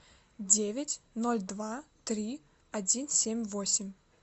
девять ноль два три один семь восемь